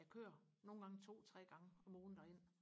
jeg kører nogle gange to tre gange om ugen derind